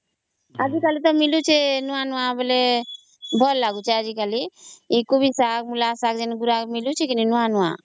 ଆଜି କଲି ତା ମିଳୁଛି ନୂଆ ନୂଆ ବେଲେ ଭଲ ଲାଗୁଛେ ଏ କୋବି ଶାଗ ମୂଳ ଶାଗ ନୂଆ ନୂଆ